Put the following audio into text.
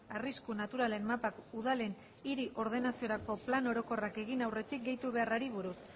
arrisku naturalen mapak udalen hiri ordenaziorako plan orokorrak egin aurretik gehitu beharrari buruz